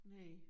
Næ